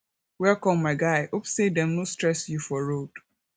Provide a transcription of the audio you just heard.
welcome my guy hope sey dem no stress you for road